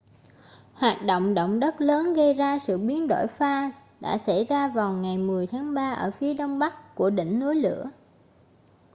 hoạt động động đất lớn gây ra sự biến đổi pha đã xảy ra vào ngày 10 tháng 3 ở phía đông bắc của đỉnh núi lửa